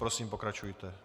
Prosím, pokračujte.